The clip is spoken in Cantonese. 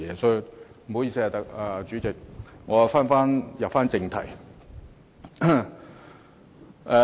不好意思，主席，我現在返回正題。